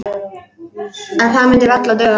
En það myndi varla duga.